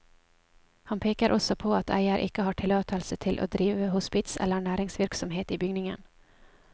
Han peker også på at eier ikke har tillatelse til å drive hospits eller næringsvirksomhet i bygningen.